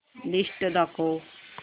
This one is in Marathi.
लिस्ट दाखव